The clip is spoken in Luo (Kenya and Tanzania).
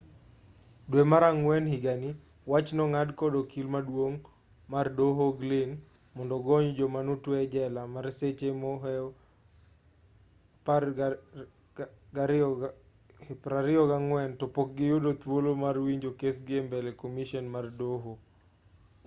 dwe mar ang'wen higani wach nong'ad kod okil maduong' mar doho glynn mondo ogony joma notwe ejela mar seche mohew 24 topok giyudo thuolo mar winjo kesgi embele komishen mar doho